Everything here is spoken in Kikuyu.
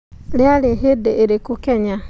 rĩarĩ hĩndĩ ĩrĩkũ kenya